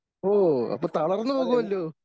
ഓ അപ്പോ തളർന്നുപോകുമല്ലോ?